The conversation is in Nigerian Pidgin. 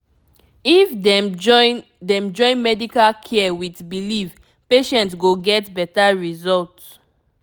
if dem join dem join medical care with belief patient go get better result